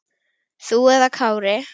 Þú eða Kári?